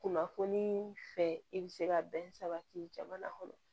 Kunnafoniii fɛ i bɛ se ka bɛn sabati jamana kɔnɔ